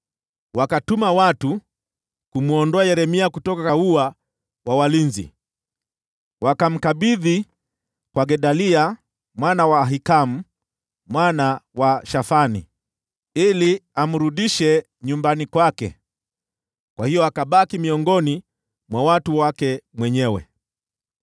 wakatuma watu kumwondoa Yeremia kutoka ua wa walinzi. Wakamkabidhi kwa Gedalia mwana wa Ahikamu mwana wa Shafani, ili amrudishe nyumbani kwake. Kwa hiyo akabaki miongoni mwa watu wake mwenyewe.